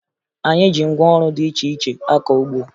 Anyị ji ngwaọrụ dị iche iche akọ ugbo